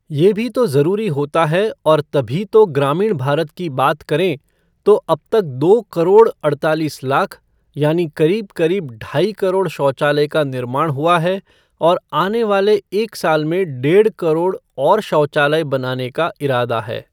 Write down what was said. ये भी तो ज़रूरी होता है और तभी तो ग्रामीण भारत की बात करें, तो अब तक दो करोड़ अड़तालीस लाख, यानि करीब करीब ढाई करोड़ शौचालय का निर्माण हुआ है और आने वाले एक साल में डेढ़ करोड़ और शौचालय बनाने का इरादा है।